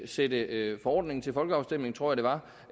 sætte forordningen til folkeafstemning tror jeg